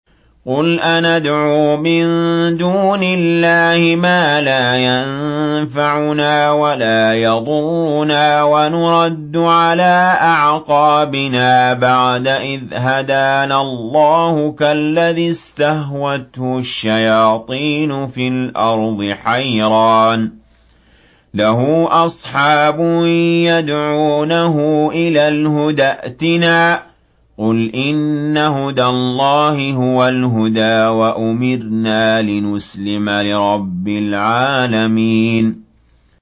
قُلْ أَنَدْعُو مِن دُونِ اللَّهِ مَا لَا يَنفَعُنَا وَلَا يَضُرُّنَا وَنُرَدُّ عَلَىٰ أَعْقَابِنَا بَعْدَ إِذْ هَدَانَا اللَّهُ كَالَّذِي اسْتَهْوَتْهُ الشَّيَاطِينُ فِي الْأَرْضِ حَيْرَانَ لَهُ أَصْحَابٌ يَدْعُونَهُ إِلَى الْهُدَى ائْتِنَا ۗ قُلْ إِنَّ هُدَى اللَّهِ هُوَ الْهُدَىٰ ۖ وَأُمِرْنَا لِنُسْلِمَ لِرَبِّ الْعَالَمِينَ